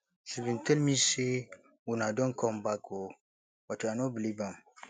she bin tell me say una don come back oo but i no believe am